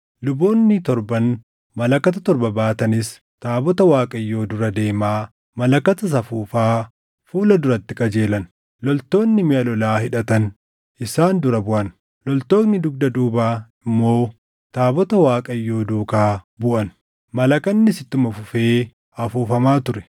Luboonni torban malakata torba baatanis taabota Waaqayyoo dura deemaa malakatas afuufaa fuula duratti qajeelan. Loltoonni miʼa lolaa hidhatan isaan dura buʼan; loltoonni dugda duubaa immoo taabota Waaqayyoo duukaa buʼan; malakannis ittuma fufee afuufamaa ture.